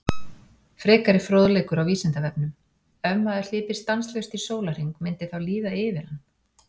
Frekari fróðleikur á Vísindavefnum: Ef maður hlypi stanslaust í sólarhring myndi þá líða yfir hann?